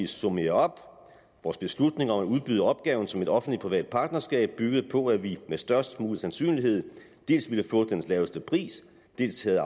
summere op vores beslutning om at udbyde opgaven som et offentlig privat partnerskab byggede på at vi med størst mulig sandsynlighed dels ville få den laveste pris dels ville